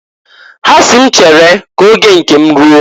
Ha si m m chere ka oge nke m ruo.